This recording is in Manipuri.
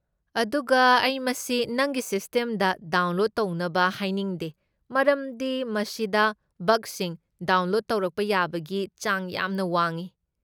ꯑꯗꯨꯒ ꯑꯩ ꯃꯁꯤ ꯅꯪꯒꯤ ꯁꯤꯁꯇꯦꯝꯗ ꯗꯥꯎꯟꯂꯣꯗ ꯇꯧꯅꯕ ꯍꯥꯏꯅꯤꯡꯗꯦ ꯃꯔꯝꯗꯤ ꯃꯁꯤꯗ ꯕꯒꯁꯤꯡ ꯗꯥꯎꯟꯂꯣꯗ ꯇꯧꯔꯛꯄ ꯌꯥꯕꯒꯤ ꯆꯥꯡ ꯌꯥꯝꯅ ꯋꯥꯡꯢ ꯫